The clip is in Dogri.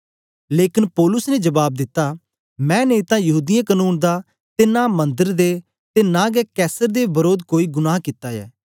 लेकन पौलुस ने जबाब दिता मैं नेई तां यहूदीयें कनून दा ते नां मंदर दे ते नां गै कैसर दे वरोध कोई गुनाह कित्ता ऐ